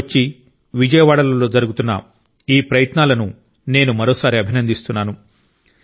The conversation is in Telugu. కొచ్చి విజయవాడలలో జరుగుతున్న ఈ ప్రయత్నాలను నేను మరోసారి అభినందిస్తున్నాను